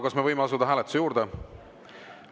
Kas me võime asuda hääletuse juurde?